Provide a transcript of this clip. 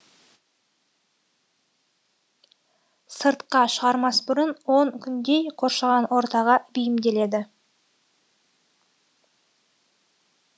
сыртқа шығармас бұрын он күндей қоршаған ортаға бейімделеді